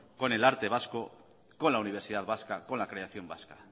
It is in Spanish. con el arte vasco con la universidad vasca con la creación vasca